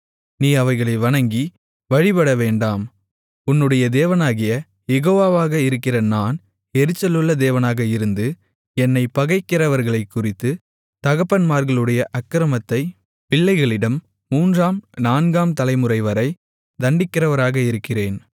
நீ அவைகளை வணங்கி வழிபடவேண்டாம் உன்னுடைய தேவனாகிய யெகோவாவாக இருக்கிற நான் எரிச்சலுள்ள தேவனாக இருந்து என்னைப் பகைக்கிறவர்களைக்குறித்து தகப்பன்மார்களுடைய அக்கிரமத்தைப் பிள்ளைகளிடம் மூன்றாம் நான்காம் தலைமுறைவரை தண்டிக்கிறவராக இருக்கிறேன்